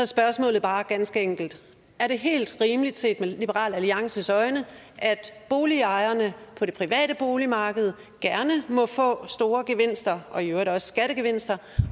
spørgsmålet bare ganske enkelt er det helt rimeligt set med liberal alliances øjne at boligejerne på det private boligmarked gerne må få store gevinster og i øvrigt også skattegevinster